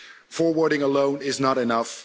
Forwarding alone is not enough.